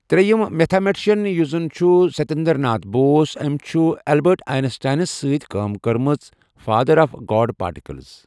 ترٛییِم میتھا مٹشن یُس زن چھُ ستیندرٕ ناتھ بوس أمۍ چھ اٮ۪لبأٹ آینس ٹاینس سۭتۍ کأم کٔرمٕژ فادرآف گاڈ پارٹِکلز